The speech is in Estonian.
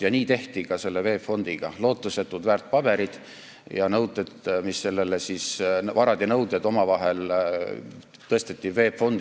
Ja nii tehti ka selle VEB Fondiga: lootusetud väärtpaberid ja nõuded tõsteti VEB Fondi.